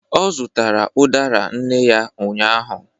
ọ zụtara udara nne ya ụnyahụ